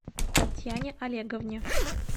татьяне олеговне